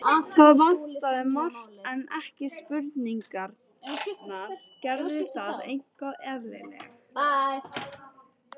Það vantaði margt, en ekki spurningarnar: Gerði það eitthvað eðlilega?